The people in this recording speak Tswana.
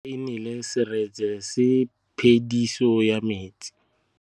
Fa pula e nelê serêtsê ke phêdisô ya metsi.